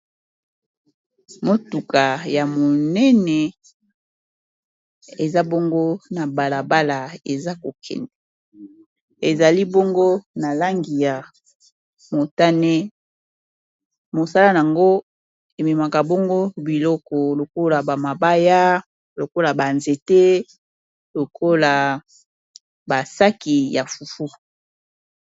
Motuka ya monene eza bongo na balabala eza kokende. Ezali bongo na langi ya motane, mosala yango ememaka bongo biloko lokola bamabaya lokola banzete lokola basaki ya fufu.